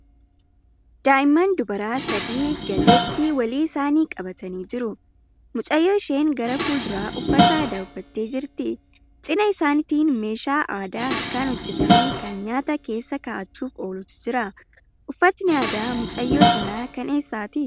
Daa'imman dubaraa sadii gateettii walii isaanii qabatanii jiru. Mucayyoo isheen gara fuulduraa uffata aadaa uffattee jirti. Cina isaaniitiin meeshaa aadaa harkaan hojjetame kan nyaata keessa kaa'achuuf oolutu jira. Uffatni aadaa mucayyoo sanaa kan eessaati?